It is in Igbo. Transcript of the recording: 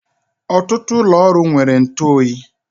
Ọtụtụ ụlọ ọrụ nwere ntụ oyi